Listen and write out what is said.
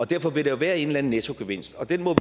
derfor vil der være en eller anden nettogevinst og den må